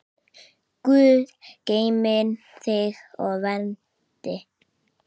Guð geymi þig og verndi.